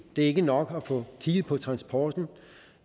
det er ikke nok at få kigget på transporten og